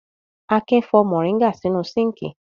Akin fọ mòríngà nínú síńkì.